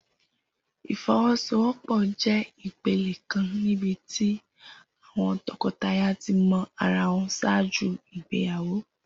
Ifowosowopo jẹ ipele kan nibiti àwọn tọkọtaya ti mọ ara wọn ṣaaju igbeyawo.